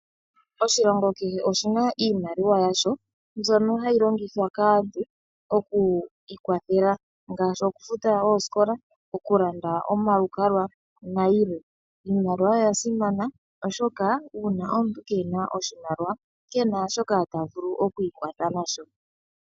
Oshilongo kehe oshina iimaliwa yasho, mbyoka hayi longithwa kaantu oku iikwathela ngashi oku futa ooskola, oku landa omalukalwa na yilwe. Iimaliwa oya simana oshoka uuna omuntu kena oshimaliwa, kena shoka ta vulu okwiikwatha nasho.